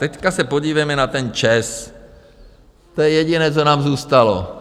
Teď se podívejme na ten ČEZ, to je jediné, co nám zůstalo.